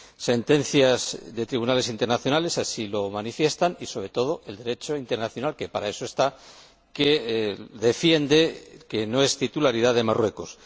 Sentencias de tribunales internacionales así lo manifiestan y, sobre todo, el Derecho internacional, que para eso está, defiende que no es titularidad de Marruecos.